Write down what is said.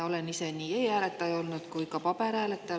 Olen ise nii e-hääletaja olnud kui ka paberil hääletaja.